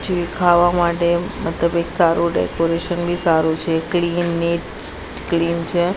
જે ખાવા માટે મતલબ એક સારુ ડેકોરેશન બી સારુ છે ક્લીન નીટ ક્લીન છે.